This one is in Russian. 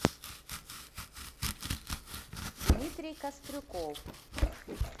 дмитрий кострюков